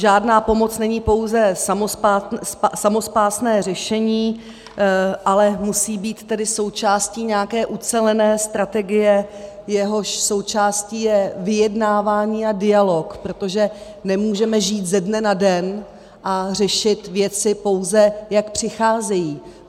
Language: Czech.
Žádná pomoc není pouze samospásné řešení, ale musí být tedy součástí nějaké ucelené strategie, jejíž součástí je vyjednávání a dialog, protože nemůžeme žít ze dne na den a řešit věci, pouze jak přicházejí.